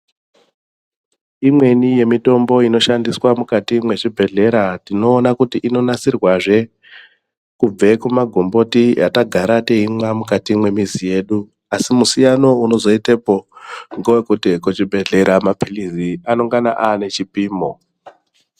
Imweni yemitombo inoshandiswa mukati mwezvibhedhlera tinoona kuti inonasirwazve kubve kumagomboti yatagara teimwa mukati mwemizi yedu asi musiyano unozoitepo ngewekuti mapilizi ekuchibhedhlera anengana aane chipimo.